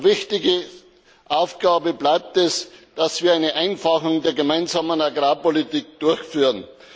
Wichtige Aufgabe bleibt es, dass wir eine Vereinfachung der Gemeinsamen Agrarpolitik durchführen.